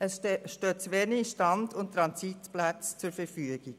Es stehen zu wenige Stand- und Transitplätze zur Verfügung.